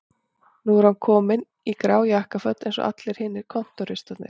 Núna er hann kominn í grá jakkaföt eins og allir hinir kontóristarnir